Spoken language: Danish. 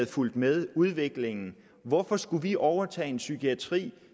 fulgt med udviklingen hvorfor skulle vi overtage en psykiatri